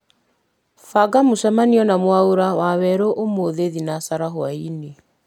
banga mũcemanio na mwaũra wawerũ ũmũthĩ thinacara hwaĩ-inĩ